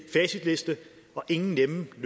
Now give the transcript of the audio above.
en